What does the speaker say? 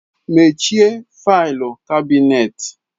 Mechie faịlụ kabinet!